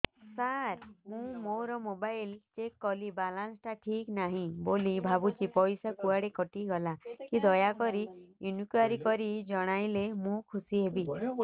ସାର ମୁଁ ମୋର mobile check କଲି ବାଲାନ୍ସ ଟା ଠିକ ନାହିଁ ବୋଲି ଭାବୁଛି ପଇସା କୁଆଡେ କଟି ଗଲା କି ଦୟାକରି ଇନକ୍ୱାରି କରି ଜଣାଇଲେ ମୁଁ ଖୁସି ହେବି